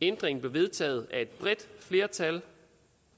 ændringen blev vedtaget af et bredt flertal